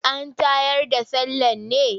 An tayar da sallah ne?